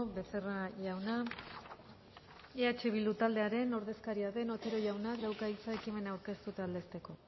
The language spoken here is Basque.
becerra jauna eh bildu taldearen ordezkaria den otero jaunak dauka hitza ekimena aurkeztu eta aldezteko